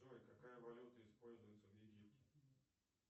джой какая валюта используется в египте